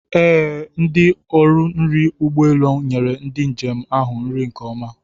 Ee, ndi ọrụ nri ụgbọ elu nyere ndị njem ahụ nri nke ọma.